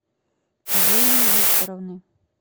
юлии викторовны